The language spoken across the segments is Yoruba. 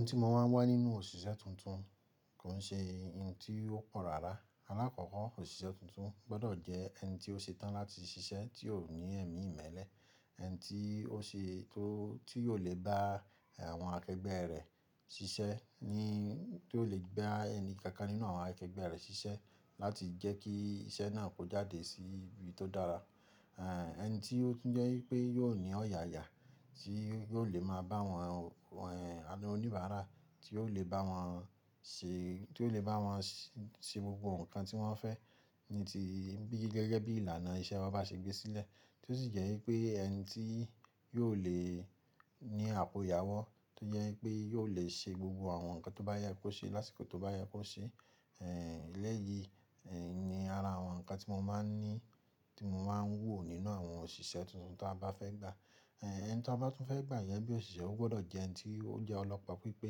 N tí mo máa ń wá nínú òṣìṣẹ́ tuntun kò n ṣe n tí ó pọ rárá. Alákọ̀ọ́ko òṣìṣẹ́ tuntun gbọ́dọ̀ jẹ́ ẹni tí ó ṣetán láti ṣiṣẹ́ tí ò ní ẹ̀mí ìmẹ́lẹ́, ẹni tí ó ṣe tó tí yóò lè bá àwọn akẹgbẹ́ rẹ̀ ṣiṣẹ́, ni tó lè gba ẹni kankan nínú àwọn akẹgbẹ́ rẹ̀ ṣiṣẹ́ láti jẹ́ kí iṣẹ́ náà kó jáde sí ibi tó dára. E Ẹ̀ ẹni tí ó tun jẹ́ wipé yóò ní ọ̀yàyà, tí yóò lè máa bá àwọn e ọ̀nìbàárà, tí ò lè bá wọn ṣe, tí ò lè bá wọn s-- ṣe gbogbo nǹkan tí wọ́n fẹ́ ní ti bi gẹ́gẹ́ bí ìlànà iṣẹ́ wa bá ṣe gbé sílẹ̀. Tó sì jẹ́ í pé ẹni tí yóò lè ní àpò ìyàwó tó yẹ́ í pé yóò lè ṣe gbogbo àwọn nǹkan tó bá yẹ kó ṣe lásìkò tó bá yẹ kó ṣe. E Ẹ̀lẹ́yìí ẹ̀ ni ara àwọn nǹkan tí mo máa ń ní, tí mo máa ń wò nínú àwọn òṣìṣẹ́ tuntun ta bá fẹ́ gba. E ẹni to n bá tún fẹ́ gba yẹn bíi òṣìṣẹ́ ó gbọ́dọ̀ jẹ́ ẹni tí ó jẹ́ ọlọ́pọpípé,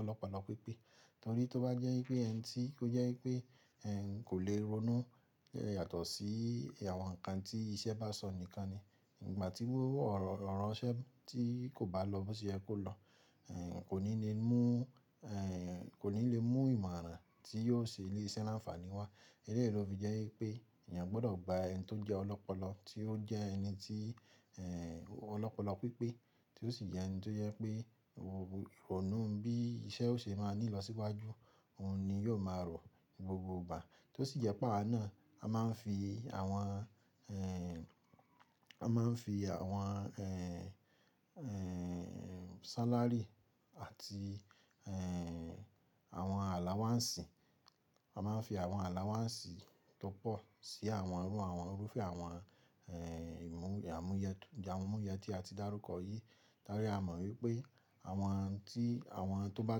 olopolopipe torí tó bá jẹ́ í pé ẹni tí ó jẹ́ í pé ẹ̀ ń kò lè ronú e yàtọ̀ sí àwọn nǹkan tí iṣẹ́ bá sọ nìkan ni. Ngbà tí o orọ̀ ro ranṣẹ́ tí kò bá lọ bó ṣe yẹ kó lọ. Ẹ̀ kò ní le mú ẹ̀ kò ní le mú ìmọ̀ràn tí yóò ṣe ilé iṣẹ́ láǹfààní wá. Eléyìí ló fi jẹ́ í pé ènìyàn gbọ́dọ̀ gba ẹni tó jẹ́ ọlọ́pọlọ tí ó jẹ́ ẹni tí ẹ̀ ọlọ́pọlọpípé tí ó sì jẹ́ ẹni tó yẹ́ pé o ọ̀nu bí iṣẹ́ ó ṣe máa ní lọ síwájú òun ni yóò máa rò gbogbo gbà. Tó sì jẹ́ pé àwa náa a máa ń fi àwọn ẹ̀ a máa ń fi àwọn ẹ̀ ẹ̀ salary àti ẹ̀ àwọn allowance i, a máa ń fi àwọn allowance i tó pọ̀ sí àwọn eru àwọn Òrúfẹ́ àwọn ẹ̀ ìmú, àmúyẹ t-, amuye tí a ti dárúkọ yìí. Torí a mọ̀ wípé àwọn tí àwọn tó bá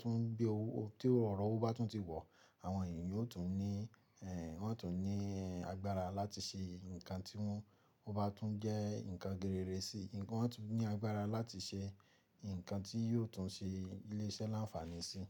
tún bí owó tí órọ̀ owó bá tún ti wọ̀, àwọn èeyàn yóò tún ní ẹ̀ wọn tún ní ẹ́ agbára láti ṣe nǹkan tí wọ́n ó bá tún jẹ́ nǹkan gírere sí i, wọn tún ní agbára láti ṣe n nǹkan tí yóò tún ṣe ilé iṣẹ́ láǹfààní sí i.